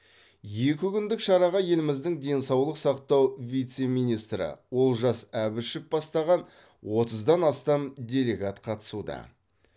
екі күндік шараға еліміздің денсаулық сақтау вице министрі олжас әбішев бастаған отыздан астам делегат қатысуда